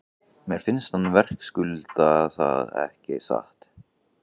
Mér finnst hann verðskulda það ekki satt?